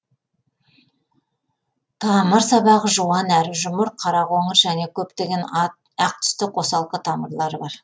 тамыр сабағы жуан әрі жұмыр қара қоңыр және көптеген ақ түсті қосалқы тамырлары бар